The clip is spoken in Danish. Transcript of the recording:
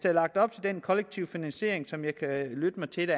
er lagt op til den kollektive finansiering som jeg kan lytte mig til